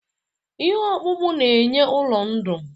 Ihe ọkpụkpụ na-enye ụrọ ndụ.